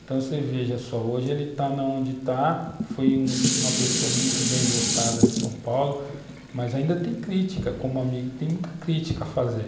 Então você veja só, hoje ele está onde está, foi uma uma pessoa muito bem votada em São Paulo, mas ainda tem crítica, como amigo tem muita crítica a fazer.